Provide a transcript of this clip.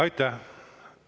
Aitäh!